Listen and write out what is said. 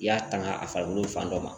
I y'a tanga a farikolo fan dɔ ma